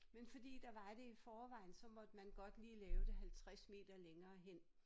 Men fordi der var det i forvejen så måtte man godt lige lave det 50 meter længere hen